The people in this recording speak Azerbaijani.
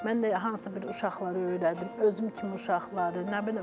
Mən də hansısa bir uşaqlar öyrədim, özüm kimi uşaqları, nə bilim.